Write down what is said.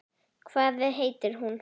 Hvað heitir hún?